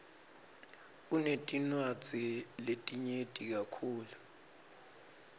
sinetinwadzi letinyeti kakhulu